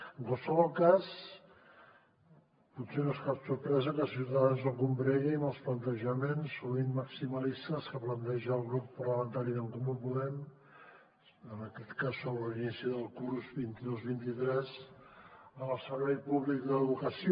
en qualsevol cas potser no és cap sorpresa que ciutadans no combregui amb els plantejaments sovint maximalistes que planteja el grup parlamentari d’en comú podem en aquest cas sobre l’inici del curs vint dos vint tres en el servei públic d’educació